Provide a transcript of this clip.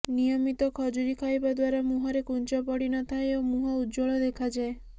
ନିୟମିତ ଖଜୁରୀ ଖାଇବା ଦ୍ୱାରା ମୁହଁରେ କୁଞ୍ଚ ପଡ଼ି ନଥାଏ ଓ ମୁହଁ ଉଜ୍ୱଳ ଦେଖାଯାଏ